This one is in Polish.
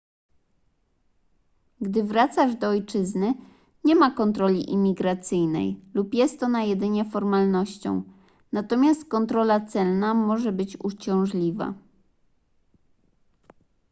gdy wracasz do ojczyzny nie ma kontroli imigracyjnej lub jest ona jedynie formalnością natomiast kontrola celna może być uciążliwa